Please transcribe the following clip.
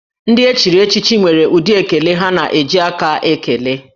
Ndị echiri echichi nwere ụdị ekele ha na-eji aka ekele